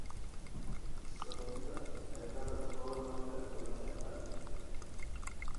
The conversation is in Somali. Sababta cilada fowlarka lama yaqaan.